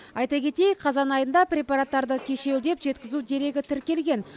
айта кетейік қазан айында препараттарды кешеуілдеп жеткізу дерегі тіркелген